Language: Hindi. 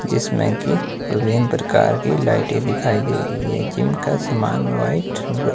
जिसमें की विभिन्न प्रकार की लाइटें दिखाई दे रही है जिम का सामान व्हाइट व--